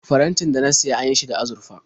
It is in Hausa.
Farantin da na siya an yi shi da azurfa.